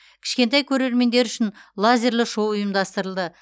кішкентай көрермендер үшін лазерлі шоу ұйымдастырылды